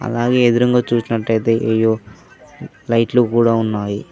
అలాగే ఎదురుంగా చుసినట్టాయితే ఎల్లో లైట్లు కూడా ఉన్నాయి